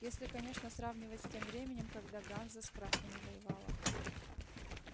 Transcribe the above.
если конечно сравнивать с тем временем когда ганза с красными воевала